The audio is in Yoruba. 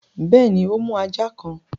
Bẹ́ẹ̀ni, o mú ajá kan